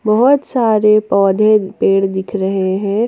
बहुत सारे पौधे पेड़ दिख रहे हैं।